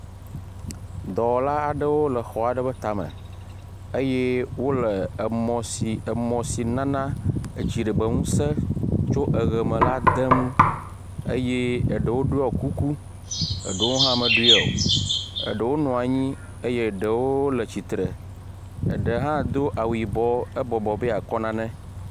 Dɔwɔla aɖewo le xɔ aɖewo tame eye wole emɔ si emɔ si nana etsi ɖegbeŋuse tso eʋeme la dem eye eɖewo ɖɔ kuku eɖewo hã meɖɔ o. eɖewo nɔ anyi eye ɖewo le tsitre. Eɖe hã do awu yibɔ ebɔbɔ be yeakɔ nane.